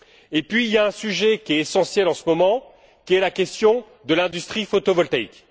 Et puis, il y a un sujet qui est essentiel en ce moment, à savoir la question de l'industrie photovoltaïque.